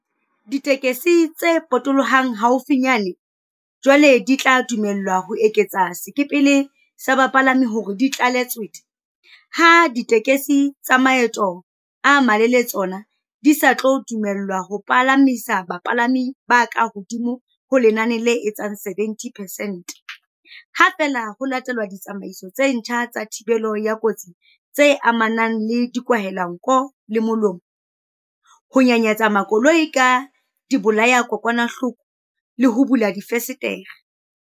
Ditekesi tse potolohang haufinyane jwale di tla dumellwa ho eketsa sekepele sa bapalami hore di tlale tswete, ha ditekesi tsa maeto a malelele tsona di sa tlo dumellwa ho palamisa bapalami ba kahodimo ho lenane le etsang 70 percent, ha feela ho latelwa ditsamaiso tse ntjha tsa thibelo ya kotsi tse amanang le dikwahelanko le molomo, ho nyanyatsa makoloi ka dibolayadikokwanahloko le ho bula difenstere.